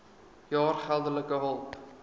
jaar geldelike hulp